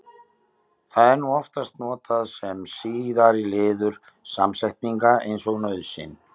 Það er nú oftast notað sem síðari liður samsetninga eins og nauðsyn.